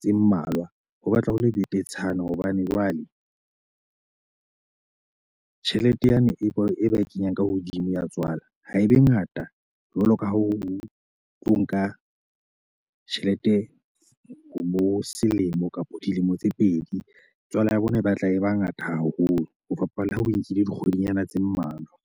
tse mmalwa. Ho batla ho le betetshana hobane jwale tjhelete yane e ba e kenyang ka hodimo ya tswala ha e be ngata jwaloka ha o tlo nka tjhelete ho bo selemo kapa dilemo tse pedi, tswala ya bona e batla e ba ngata haholo. Ho fapana le ha o nkile dikgwedinyana tse mmalwa.